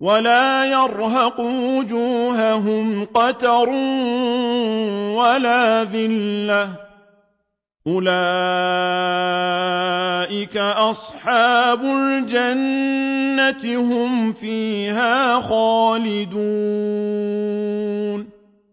وَلَا يَرْهَقُ وُجُوهَهُمْ قَتَرٌ وَلَا ذِلَّةٌ ۚ أُولَٰئِكَ أَصْحَابُ الْجَنَّةِ ۖ هُمْ فِيهَا خَالِدُونَ